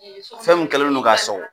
Fɛn min kɛlen do k'a sɔgɔ